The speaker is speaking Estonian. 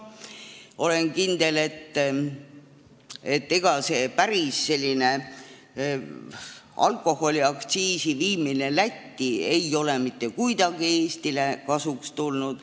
Olen kindel, et ega see alkoholiaktsiisi viimine Lätti ei ole mitte kuidagi Eestile kasuks tulnud.